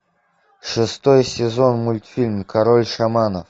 шестой сезон мультфильм король шаманов